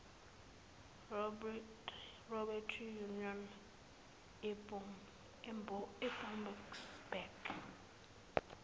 robbery unit eboksburg